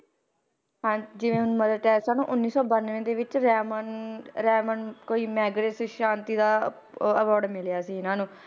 ਹਾਂ, ਜਿਵੇਂ ਹੁਣ ਮਦਰ ਟੈਰੇਸਾ ਨੂੰ ਉੱਨੀ ਸੌ ਬਾਨਵੇਂ ਦੇ ਵਿੱਚ ਰੈਮਨ ਰੈਮਨ ਕੋਈ ਮੈਗਰੈਸ ਸ਼ਾਂਤੀ ਦਾ ਉਹ award ਮਿਲਿਆ ਸੀ ਇਹਨਾਂ ਨੂੰ,